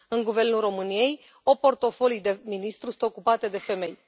În guvernul României, 8 portofolii de ministru sunt ocupate de femei.